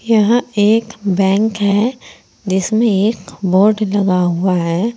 यहां एक बैंक है जिसमें एक बोर्ड लगा हुआ है।